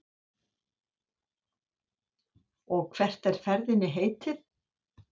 Og hvert er ferðinni heitið?